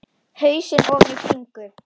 Hausinn ofan í bringu.